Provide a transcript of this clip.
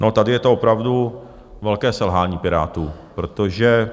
No tady je to opravdu velké selhání Pirátů, protože